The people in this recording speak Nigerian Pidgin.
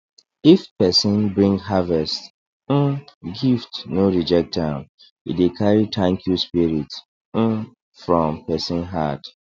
if person bring harvest um gift no reject am e dey carry thankyou spirit um from person heart